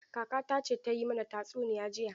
Kakata ce ta yi mana tatsuniya jiya.